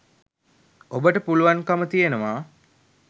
ඔබට පුළුවන්කම තියෙනවා